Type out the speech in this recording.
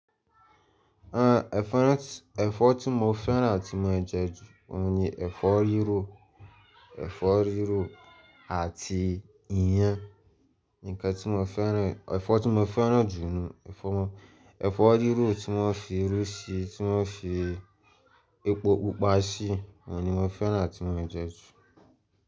Ah, ẹ̀fọ́ tí mo fẹ́ràn tí mo ń jẹ ju òun ni ẹ̀fọ́ rírò, ẹ̀fọ́ rírò àti ìyàn. Nǹkan tí mo fẹ́ràn, ẹ̀fọ́ tí mo fẹ́ràn jù nù, ẹ̀fọ́ rírò tí wọ́n fi irú sí, tí wọ́n fi epo pupa sí, òun ni mo fẹ́ràn àti mọ jẹ ju.